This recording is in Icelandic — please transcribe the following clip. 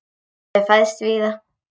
Ég hef fæðst víða.